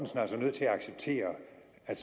af